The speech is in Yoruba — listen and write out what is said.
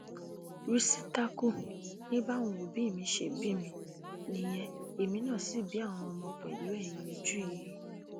rìsítákù ni báwọn òbí mi ṣe bí mi nìyẹn èmi náà sì bí àwọn ọmọ pẹlú ẹyin ojú yìí